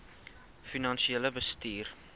finansiële bestuur